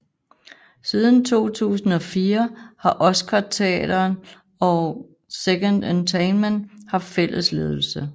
Siden 2004 har Oscarsteatern og 2Entertain haft fælles ledelse